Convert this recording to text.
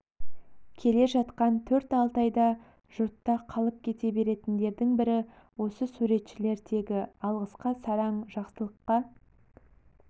келе жатқан төр алтайда жұртта қалып кете беретіндердің бірі осы суретшілер тегі алғысқа сараң жақсылыққа